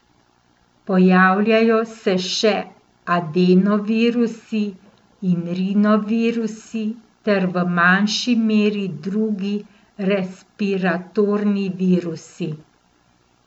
Pojavljajo se še adenovirusi in rinovirusi ter v manjši meri drugi respiratorni virusi.